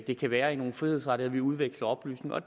det kan være i nogle frihedsrettigheder at vi udveksler oplysninger og